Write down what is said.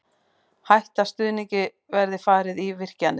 Hætta stuðningi verði farið í virkjanir